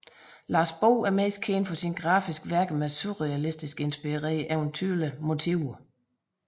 Lars Bo er mest kendt for sine grafiske værker med surrealistisk inspireret eventyrlige motiver